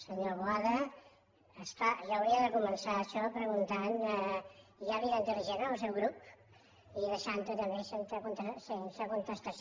senyor boada és clar jo hauria de començar això preguntant hi ha vida intel·ligent en el seu grup i deixant ho també sense contestació